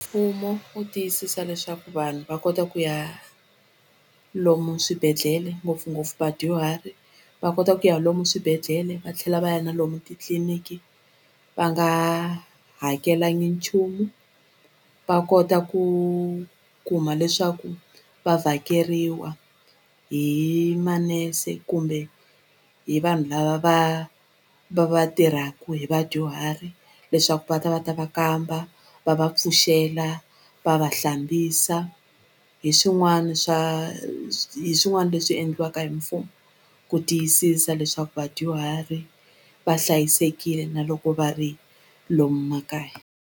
Mfumo wu tiyisisa leswaku vanhu va kota ku ya lomu swibedhlele ngopfungopfu vadyuhari va kota ku ya lomu swibedhlele va tlhela va ya na lomu titliliniki va nga hakelangi nchumu va kota ku kuma leswaku va vhakeriwa hi manese kumbe hi vanhu lava va va va tirhaku hi vadyuhari leswaku va ta va ta va kamba va va pfuxela va va hlambisa hi swin'wani swa hi swin'wani leswi endliwaka hi mfumo ku tiyisisa leswaku vadyuhari va hlayisekile na loko va ri lomu makaya.